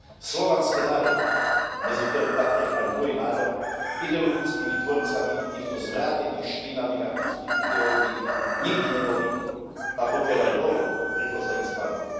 Slovanské národy, medzi ktoré patrí aj môj národ, ideologickými tvorcami týchto zvrátených, špinavých a hnusných ideológií nikdy neboli, a pokiaľ aj boli, rýchlo sa ich zbavili.